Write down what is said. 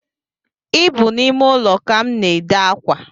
Ị bụ n’ime ụlọ ka m na-ede akwa